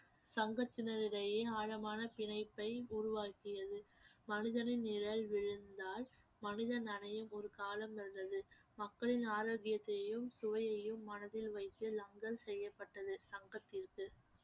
சங்கத்தினரிடையே ஆழமான பிணைப்பை உருவாக்கியது மனிதனின் நிழல் விழுந்தால் மனிதன் அடையும் ஒரு காலம் வந்தது மக்களின் ஆரோக்கியத்தையும் சுவையையும் மனதில் வைத்து செய்யப்பட்டது சங்கத்திற்கு